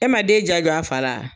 E ma den ja jɔ a fa la.